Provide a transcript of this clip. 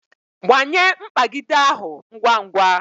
Gbanye mkpagide ahụ ngwa ngwa